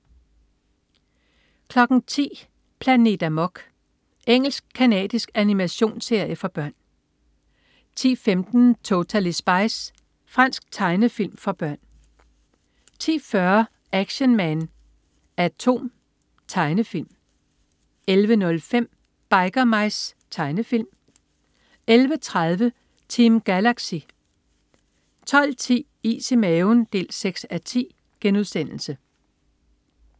10.00 Planet Amok. Engelsk-canadisk animationsserie for børn 10.15 Totally Spies. Fransk tegnefilm for børn 10.40 Action Man A.T.O.M. Tegnefilm 11.05 Biker Mice. Tegnefilm 11.30 Team Galaxy 12.10 Is i maven 6:10*